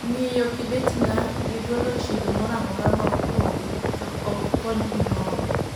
Ng'iyo kibeti na gi golo chilo mora mora ma opong'e to ok kony gimoro